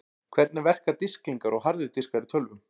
Hvernig verka disklingar og harðir diskar í tölvum?